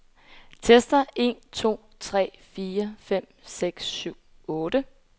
Tester en to tre fire fem seks syv otte.